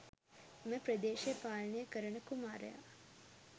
එම ප්‍රදෙශය පාලනය කරන කුමාරයා.